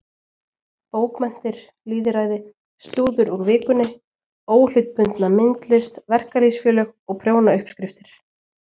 Bókmenntir, lýðræði, slúður úr Vikunni, óhlutbundna myndlist, verkalýðsfélög og prjónauppskriftir.